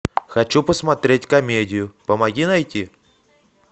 хочу посмотреть комедию помоги найти